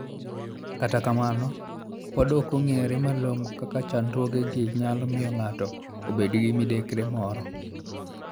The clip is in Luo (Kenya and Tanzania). Kata kamano, podi ok ong'ere malong'o kaka chandruogegi nyalo miyo ng'ato obed gi midekre moro.